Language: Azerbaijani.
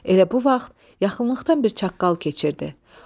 Elə bu vaxt yaxınlıqdan bir çaqqal keçirdi.